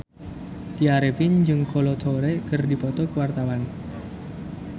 Tya Arifin jeung Kolo Taure keur dipoto ku wartawan